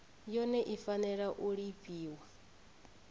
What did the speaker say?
yone i fanela u lifhiwa